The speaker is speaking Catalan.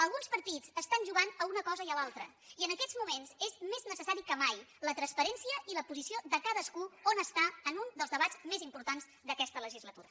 alguns partits estan jugant a una cosa i a l’altra i en aquests moments és més necessari que mai la transparència i la posició de cadascú on està en un dels debats més importants d’aquesta legislatura